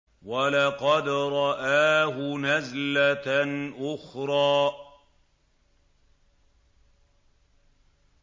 وَلَقَدْ رَآهُ نَزْلَةً أُخْرَىٰ